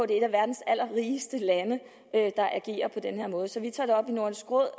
det er et af verdens allerrigeste lande der agerer på den her måde så vi tager det op i nordisk råd